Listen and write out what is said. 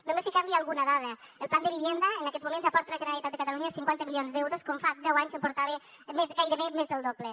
només donar li alguna dada el plan de vivienda en aquests moments aporta a la generalitat de catalunya cinquanta milions d’euros quan fa deu anys en portava gairebé més del doble